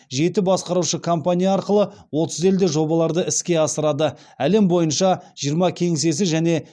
жеті басқарушы компания арқылы отыз елде жобаларды іске асырады әлем бойынша жиырма кеңсесі және